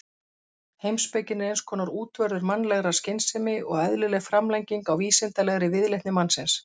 Heimspekin er eins konar útvörður mannlegrar skynsemi og eðlileg framlenging á vísindalegri viðleitni mannsins.